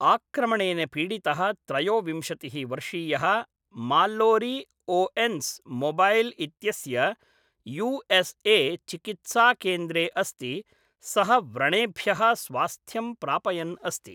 आक्रमणेन पीडितः त्रयोविंशतिः वर्षीयः माल्लोरी ओएन्स् मोबैल् इत्यस्य यू एस् ए चिकित्साकेन्द्रे अस्ति, सः व्रणेभ्यः स्वास्थ्यं प्रापयन् अस्ति।